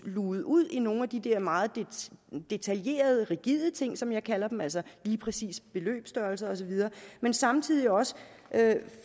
luget ud i nogle af de der meget detaljerede rigide ting som jeg kalder dem altså præcise beløbsstørrelser osv men samtidig også at